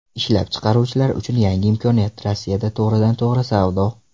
Ishlab chiqaruvchilar uchun yangi imkoniyat Rossiyada to‘g‘ridan to‘g‘ri savdo.